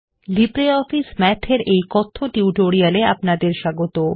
LibreOffice Math এর এই কথ্য টিউটোরিয়ালে আপনাদের স্বাগত